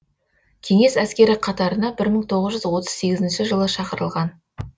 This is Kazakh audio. кеңес әскері қатарына бір мың тоғыз жүз отыз сегізінші жылы шақырылған